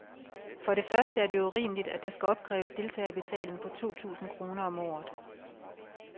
For det første er det urimeligt, at der skal opkræves deltagerbetaling på to tusind kroner om året.